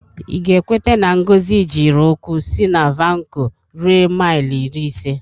Ị ga-ekwete na Ngozi jiri ụkwụ si na Vanko rue maịl iri ise?